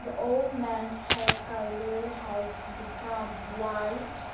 old man hair colour has become white.